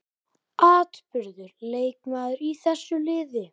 Afburðar leikmaður í þessu liði.